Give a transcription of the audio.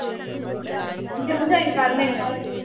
gym join ਕਰ ਮੇਰੇ ਨਾਲ਼